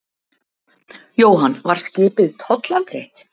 Jóhann: Var skipið tollafgreitt?